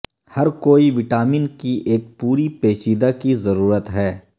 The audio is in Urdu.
ہر کوئی وٹامن کی ایک پوری پیچیدہ کی ضرورت ہے